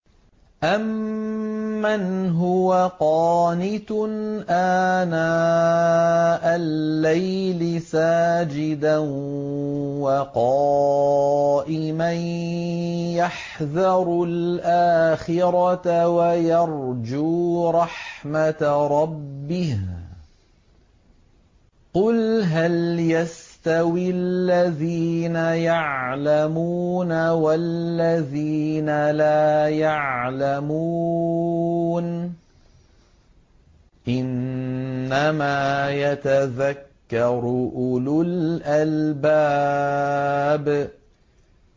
أَمَّنْ هُوَ قَانِتٌ آنَاءَ اللَّيْلِ سَاجِدًا وَقَائِمًا يَحْذَرُ الْآخِرَةَ وَيَرْجُو رَحْمَةَ رَبِّهِ ۗ قُلْ هَلْ يَسْتَوِي الَّذِينَ يَعْلَمُونَ وَالَّذِينَ لَا يَعْلَمُونَ ۗ إِنَّمَا يَتَذَكَّرُ أُولُو الْأَلْبَابِ